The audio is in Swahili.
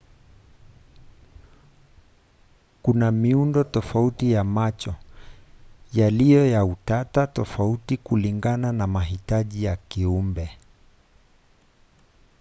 kuna miundo tofauti ya macho yaliyo ya utata tofauti kulingana na mahitaji ya kiumbe